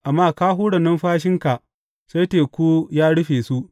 Amma ka hura numfashinka sai teku ya rufe su.